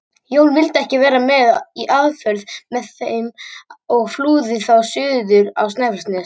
Jón vildi ekki vera með í aðför að þeim og flúði þá suður á Snæfellsnes.